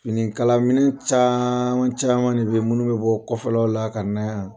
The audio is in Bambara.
Fini kalaminɛ caaaaman caman de bɛ minnu bɛ bɔ kɔfɛlaw la ka na yan.